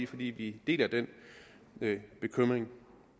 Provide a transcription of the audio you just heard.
fordi vi deler den bekymring